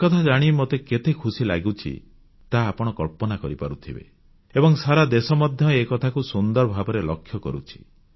ଏକଥା ଜାଣି ମୋତେ କେତେ ଖୁସି ଲାଗୁଛି ତାହା ଆପଣ କଳ୍ପନା କରିପାରୁଥିବେ ଏବଂ ସାରା ଦେଶ ମଧ୍ୟ ଏକଥାକୁ ସୁନ୍ଦର ଭାବରେ ଲକ୍ଷ୍ୟ କରୁଛି